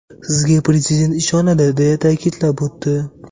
Sizga Prezident ishonadi”, deya ta’kidlab o‘tdi.